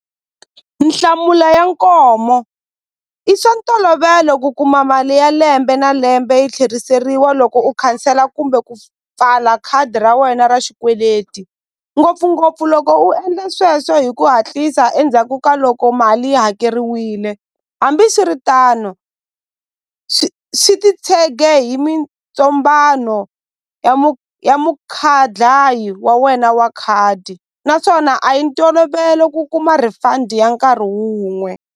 Nhlamulo ya i swa ntolovelo ku kuma mali ya lembe na lembe yi tlheriseriwa loko u khansela kumbe ku pfala khadi ra wena ra xikweleti ngopfungopfu loko u endla sweswo hi ku hatlisa endzhaku ka loko mali yi hakeriwile hambiswiritano swi titshege hi mitsombhano ya ya wa wena wa khadi naswona a yi ntolovelo ku kuma refund ya nkarhi wun'we.